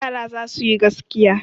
Yara za su yi gaskiya.